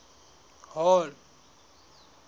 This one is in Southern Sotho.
hall